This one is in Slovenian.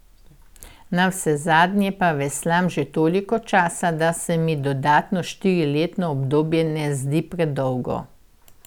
Navsezadnje pa veslam že toliko časa, da se mi dodatno štiriletno obdobje ne zdi predolgo.